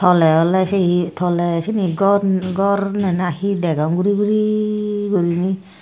tw awle awle se hi toley sini gor gor na na hi degong guri guri gurinei.